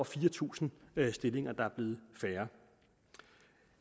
fire tusind stillinger færre